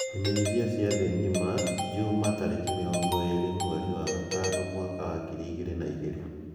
Imenyithia cia thìì ngima Juma tarìki mirongo ììrì mweri wa gatano mwaka wa ngiri ĩgìrĩ na ìgĩrĩ